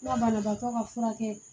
Ŋa banabaatɔ ka furakɛ